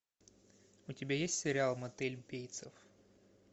у тебя есть сериал мотель бейтсов